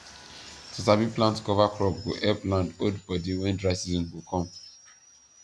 to sabi plant cover crop go help land hold body when dry season go come